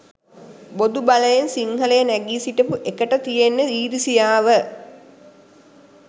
බොදු බලෙන් සිංහලය නැගීසිටපු එකට තියෙන ඉරිසියාව